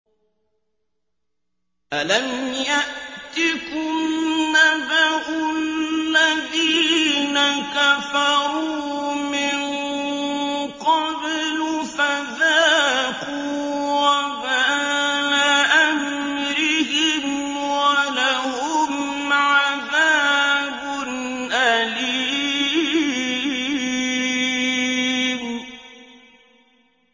أَلَمْ يَأْتِكُمْ نَبَأُ الَّذِينَ كَفَرُوا مِن قَبْلُ فَذَاقُوا وَبَالَ أَمْرِهِمْ وَلَهُمْ عَذَابٌ أَلِيمٌ